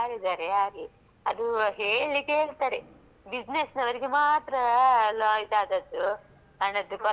Business ನವ್ರಿಗೆ ಮಾತ್ರಲಾ ಇದ್ ಆದದ್ದೂ ಹಣದ ಕೊರತೆ ಆದದ್ದು ಅಂತ ಹೇಳ್ತಾರೆ ಅದು ಸುಮ್ಮನೆ ನಮ್ಮಂತಾ ಒ.